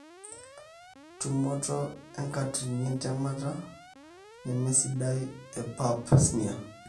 tumoto enkatini entemata nemesidai e pap(pap smear)